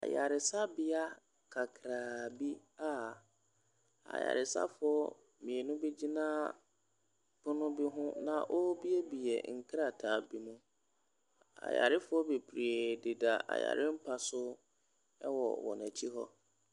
Ayaresabea kakraa bia ayaresafoɔ mmienu bi gyina ɛpono bi hɔn na wɔn buebue nkrataa bi mu ayarefoɔ bebree dida ayarempa so wɔn akyi hɔ.